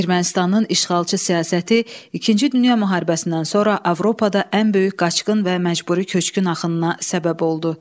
Ermənistanın işğalçı siyasəti İkinci Dünya müharibəsindən sonra Avropada ən böyük qaçqın və məcburi köçkün axınına səbəb oldu.